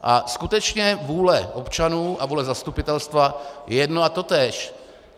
A skutečně vůle občanů a vůle zastupitelstva je jedno a totéž.